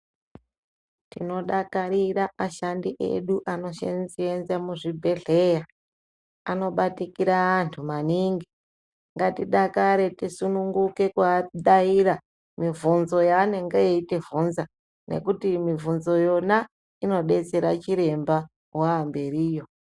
Tinodakarira ashandi edu anoshenzE muzvibhedhleya anobatikira antu maningi ngatidakare tisununguke kuadaira muvhinzo yaanenge eitivhunza ngekuti muvhunzo yona inodetsere chiremba wamberiyo.